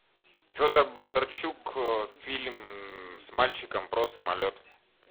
федор бондарчук фильм с мальчиком про самолет